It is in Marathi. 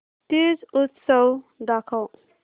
तीज उत्सव दाखव